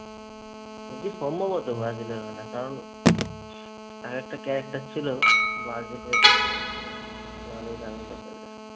বলছি সম্ভবত ব্রাজিলের ওখানের। কারণ একটা character ছিল ব্রাজিলের নামীদামি লোকেদের।